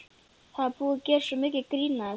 Það er búið að gera svo mikið grín að þessu.